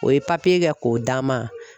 O ye kɛ k'o d'an ma.